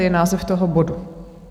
je název toho bodu?